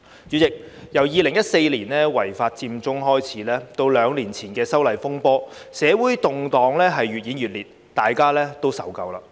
主席，由2014年違法佔中開始，至兩年前的修例風波，社會動盪越演越烈，大家都受夠了。